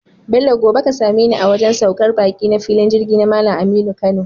Bello gobe ka sameni a wajan saukar baki na filin Jirgi na Mallan Aminu Kano